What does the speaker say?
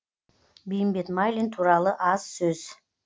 бейімбет майлин туралы аз сөз